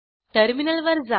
टर्मिनलवर जा